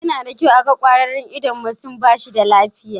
Yana da kyau a ga ƙwararre idan mutum ba shi da lafiya.